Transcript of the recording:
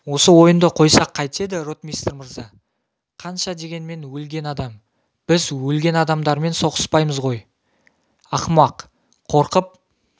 осы ойынды қойсақ қайтеді ротмистр мырза қанша дегенмен өлген адам біз өлгендермен соғыспаймыз ғой ақымақ қорқып